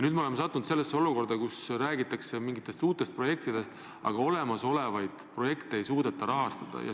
Nüüd me oleme sattunud sellesse olukorda, kus räägitakse mingitest uutest projektidest, aga olemasolevaid projekte ei suudeta rahastada.